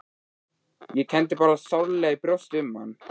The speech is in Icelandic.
Ég kenndi bara sárlega í brjósti um hann.